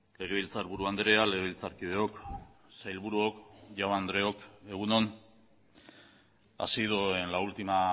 legebiltzarburu andrea legebiltzarkideok sailburuok jaun andreok egun on ha sido en la última